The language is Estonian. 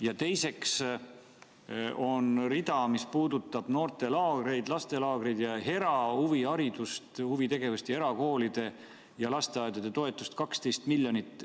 Ja teiseks, on rida, mis puudutab noortelaagreid, lastelaagreid, erahuviharidust ja ‑huvitegevust, erakoolide ja ‑lasteaedade toetust – 12 miljonit eurot.